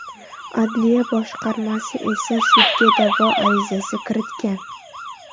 Adliya boshqarmasi esa sudga da’vo arizasi kiritgan.